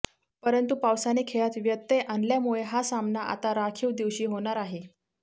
परंतु पावसाने खेळात व्यत्यय आणल्यामुळे हा सामना आता राखीव दिवशी होणार आहे